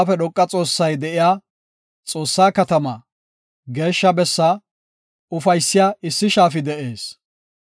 Ubbaafe Dhoqa Xoossay de7iya, Xoossaa katamaa, geeshsha bessaa, ufaysiya issi shaafi de7ees.